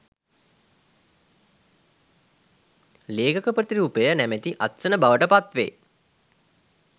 ලේඛක ප්‍රතිරූපය නැමැති අත්සන බවට පත්වේ